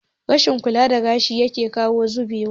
Rashin kula da gashi yake kawo zubewa